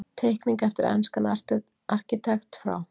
Teikning eftir enskan arkitekt frá